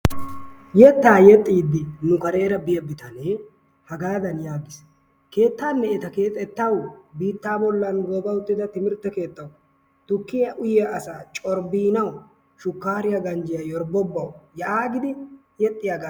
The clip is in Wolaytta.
Yetaa yexiidi nu kareera biya bitanee hagaadan yaagis. keetanne eta keexetawu biittaa bolan gooba uttida timirtte keettawu, tukkiya uyiya asaa corbbiinawu shukaariya ganjjiya yorbbobawu yaagidi